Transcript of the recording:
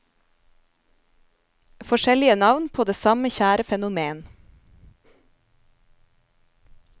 Forskjellige navn på det samme kjære fenomen.